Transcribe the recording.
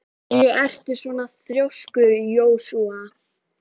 Af hverju ertu svona þrjóskur, Jósúa?